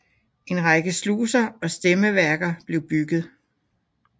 En række sluser og stemmeværker blev bygget